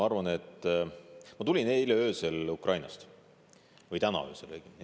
Ma tulin eile öösel, õigemini täna öösel Ukrainast.